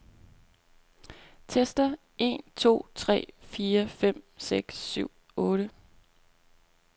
Tester en to tre fire fem seks syv otte.